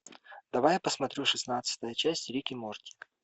давай я посмотрю шестнадцатая часть рик и морти